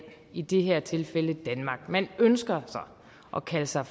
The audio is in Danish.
i det her tilfælde danmark man ønsker at kalde sig